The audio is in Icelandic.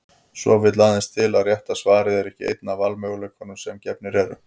Svo vill aðeins til að rétta svarið er ekki einn af valmöguleikunum sem gefnir eru.